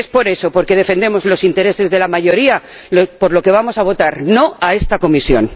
Y es por eso, porque defendemos los intereses de la mayoría, por lo que vamos a votar no a esta Comisión.